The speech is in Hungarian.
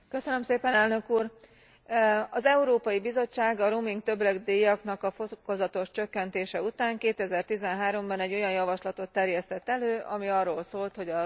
Az Európai Bizottság a roaming többletdíjaknak a fokozatos csökkentése után 2013 ban egy olyan javaslatot terjesztett elő, ami arról szólt, hogy a roaming többletdíjakat eltörli.